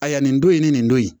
A ya nin don in ni nin don in